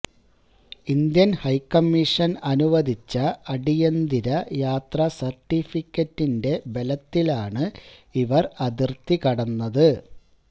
Indian high commission അനുവദിച്ച അടിയന്തര യാത്രാ സര്ട്ടിഫിക്കറ്റിന്റെ ബലത്തിലാണ് ഇവര് അതിര്ത്തികടന്നത്